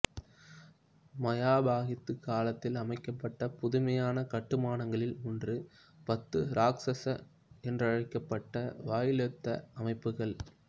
மயாபாகித்து காலத்தில் அமைக்கப்பட்ட புதுமையான கட்டுமானங்களில் ஒன்று பத்து ராக்சாசா என்றழைக்கப்பட்ட வாயிலொத்த அமைப்புக்கள்